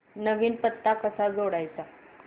नवीन पत्ता कसा जोडायचा